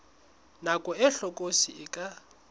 nako e hlokolosi e ka